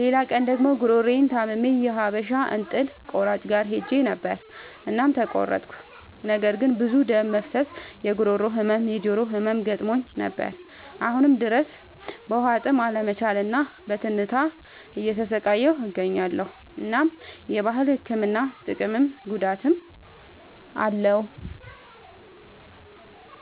ሌላ ቀን ደግሞ ጉሮሮየን ታምሜ የሀበሻ እንጥል ቆራጭ ጋር ሄጀ ነበር እናም ተቆረጥኩ። ነገር ግን ብዙ ደም መፍሰስ፣ የጉሮሮ ህመም፣ የጆሮ ህመም ገጥሞኝ ነበር። አሁንም ድረስ በዉሀጥም አለመቻል እና በትንታ እየተሰቃየሁ እገኛለሁ። እናም የባህል ህክምና ጥቅምም ጉዳትም አለዉ።